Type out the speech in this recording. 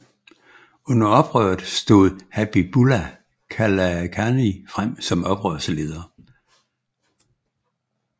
Under oprøret stod Habibullah Kalakani frem som oprørsleder